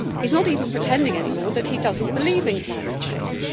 He is not even pretending any more that he does not believe in climate change.